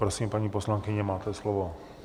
Prosím, paní poslankyně, máte slovo.